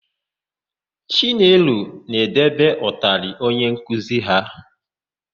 Chinelo na-edebe ụtalị onye nkuzi ha.